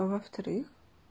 а во-вторых